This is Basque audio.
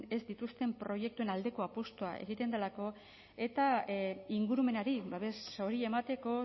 ez dituzten proiektuen aldeko apustua egiten delako eta ingurumenari babes hori emateko